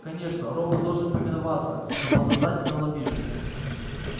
конечно робот должен повиноваться но подсознательно он обижен